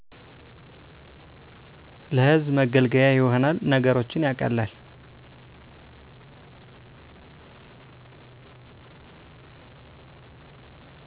ለህዝብ መገልገያ ይሆናል ነገሮችን ያቀላል